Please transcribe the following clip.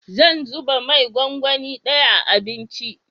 Zan zuba mai gwangwani daya a abinci